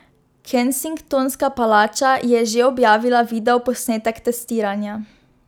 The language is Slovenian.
Kensingtonska palača je že objavila videoposnetek testiranja.